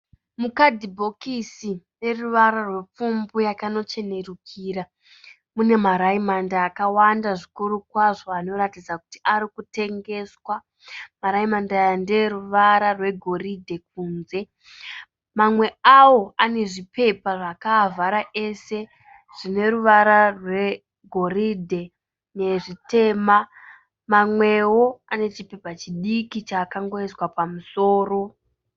Mukadhibhokisi rune ruwara rwepfumvu yakanochenerukira mune ma raimandi akawanda zvikuru kwazvo anoratidza kuti arikutengeswa. Maraimandi aya ndee ruwara rwe goridhe kunze. Mamwe awo ane zvipepa zvakaavhara ese zvine ruwara rwe goridhe nezvitema. Mamweo ane chipepa chidiki chakangoiswa pamusoro.